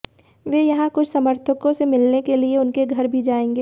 वे यहां कुछ समर्थकों से मिलने के लिए उनके घर भी जाएंगे